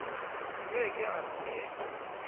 ke ke a re ke